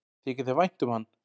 Þykir þér vænt um hann?